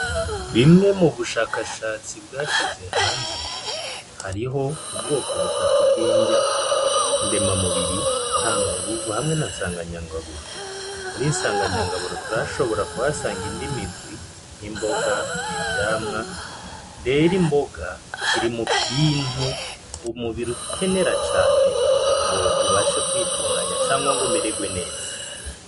Bimwe mu bushakashatsi bwashize hanze hariho ubwoko butatu bw'injya ndema mubiri ntanga nguvu hamwe na nsanganyangaburo muri nsanganyangaburo turashobora kwasanga indimirwi nk'imboga ivyamwa rera imboga kirimubintu umubiri ukenera cane ngo ubashe kwitunganya cangwa ngo umererwe neza.